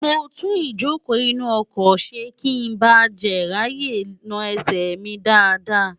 mo tún ìjókòó inú ọkọ̀ ṣe kí n ba jè ráàyè na ẹsẹ̀ mi dáadáa